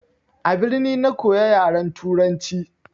A birni na koya yaran turanci.